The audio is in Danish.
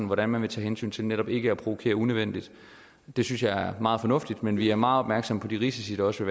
hvordan man vil tage hensyn til netop ikke at provokere unødvendigt det synes jeg er meget fornuftigt men vi er meget opmærksom på de risici der også